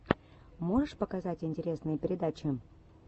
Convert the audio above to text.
можешь показать интересные передачи